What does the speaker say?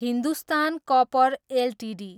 Hindustan copper Ltd